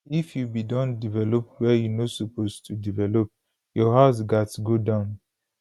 if you bin don develop wia you no suppose to develop your house gatz go down